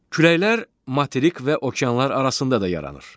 Küləklər materik və okeanlar arasında da yaranır.